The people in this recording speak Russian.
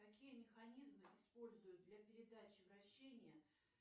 какие механизмы используют для передачи вращения